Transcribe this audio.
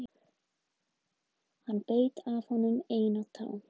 Hann beit af honum eina tána